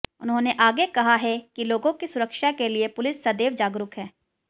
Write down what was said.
उन्होंने आगे कहा है कि लोगों की सुरक्षा के लिए पुलिस सदैव जागरूक है